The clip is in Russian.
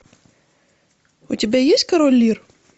у тебя есть король лир